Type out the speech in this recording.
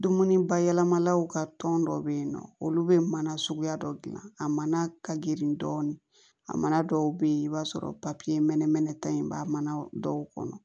Dumuni bayɛlɛmalaw ka tɔn dɔw bɛ yen nɔ olu bɛ mana suguya dɔ dilan a mana ka girin dɔɔnin a mana dɔw bɛ yen i b'a sɔrɔ mɛnɛ mɛnɛ ta in b'a mana dɔw kɔnɔ